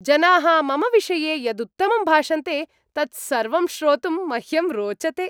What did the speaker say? जनाः मम विषये यदुत्तमं भाषन्ते तत्सर्वं श्रोतुम् मह्यं रोचते।